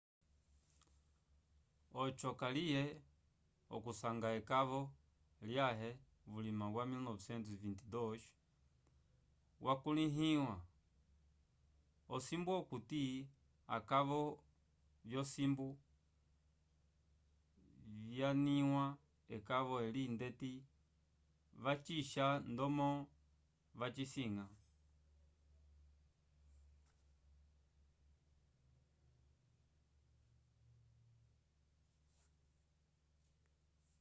oco kaliye k'okusanga ekova lyãhe vulima wa 1922 wakulihĩwa osimbu okuti akova vyosimbu vyanyanĩwa ekova eli ndeti vacixa ndomo vacisanga